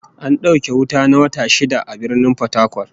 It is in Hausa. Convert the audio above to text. An dauke wuta na wata shida a Birnin Fatakwal